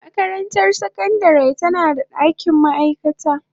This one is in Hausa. Makarantar sakandare tana da dakin ma'aikata.